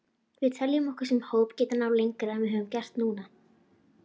Við teljum okkur sem hópur geta náð lengra en við höfum gert núna.